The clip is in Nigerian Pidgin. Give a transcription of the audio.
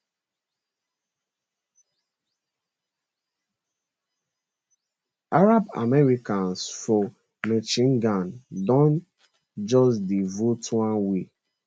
arab americans for michigan don just dey vote one way